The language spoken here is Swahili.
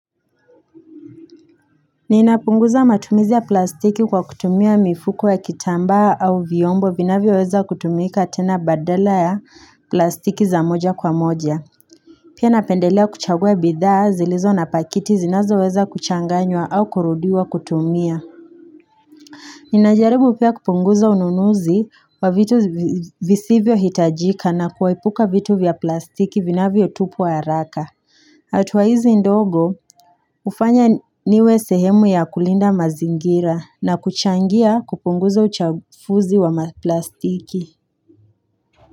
Ninapunguza matumizi ya plastiki kwa kutumia mifuko ya kitambaa au vyombo vinavyo weza kutumika tena badala ya plastiki za moja kwa moja. Pia napendelea kuchagua bidhaa zilizo na pakiti zinazo weza kuchanganywa au kurudiwa kutumia. Ninajaribu pia kupunguza ununuzi wa vitu visivyo hitajika na kuepuka vitu vya plastiki vinavyo tupwa haraka. Hatua hizi ndogo hufanya niwe sehemu ya kulinda mazingira. Na kuchangia kupunguza uchafuzi wa maplastiki.